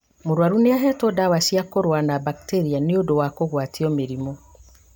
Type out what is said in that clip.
Mũrwaru nĩahetwo ndawa cia kũrũa na mbakteria nĩũndũ wa kũgwatio mĩrimũ